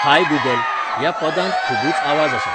हाय Google, ह्या पदांत खुबूच आवाज आसा